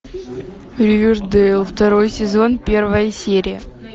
ривердейл второй сезон первая серия